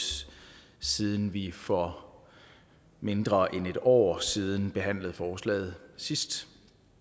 siden vi for mindre end et år siden behandlede forslaget sidst